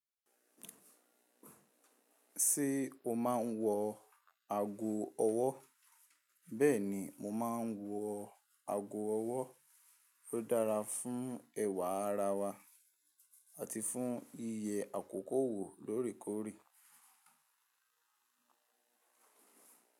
Ṣé o máa ń wọ ago ọwọ́? Bẹ́ẹ̀ni, mo máa ń wọ ago ọwọ́. Ó dára fún ẹ̀wà ara wa àti fún yiye àkókò wò lóorèkoórè.